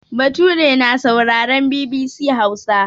Bature na sauraren BBC Hausa.